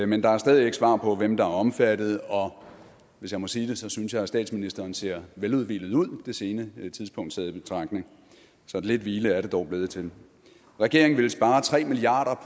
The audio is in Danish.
men der er stadig ikke svar på hvem der er omfattet og hvis jeg må sige det synes jeg at statsministeren ser veludhvilet ud det sene tidspunkt taget i betragtning så lidt hvile er det dog blevet til regeringen ville spare tre milliard